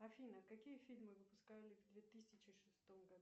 афина какие фильмы выпускали в две тысячи шестом году